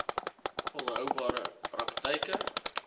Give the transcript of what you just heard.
volhoubare praktyk e